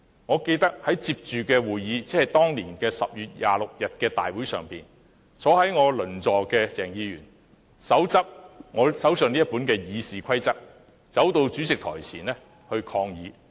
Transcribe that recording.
我記得在緊接其後的會議，即當年10月26日的大會上，我鄰座的鄭議員，手執我手上這本《議事規則》，走到主席台前抗議。